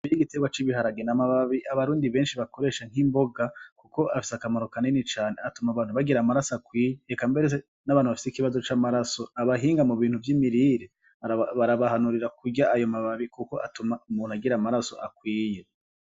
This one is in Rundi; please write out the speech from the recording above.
Iire igiterwa c'ibiharagena amababi abarundi benshi bakoresha nk'imboga, kuko afise akamaro kaneni cane atuma abantu bagira amaraso akwiye ekamberese n'abantu bafise ikibazo c'amaraso abahinga mu bintu vy'imirire barabahanurira kurya ayo mababi, kuko atuma umuntu agira amaraso akwiye.